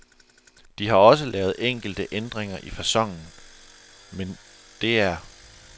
De har også lavet enkelte ændringer i faconen, men det er